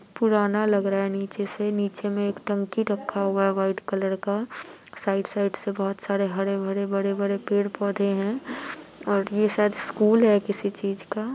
पुराना लग रहा है नीचे से नीचे में एक टंकी रखा हुआ है वाइट कलर का। साइड साइड से बोहत सारे हरे भरे बड़े बड़े पेड़ पौधे हैं। और ये शायद स्कूल है किसी चीज का --